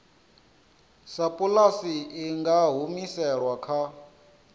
sapulasi i nga humiselwa kha